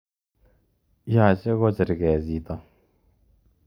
Yoche kocherke chito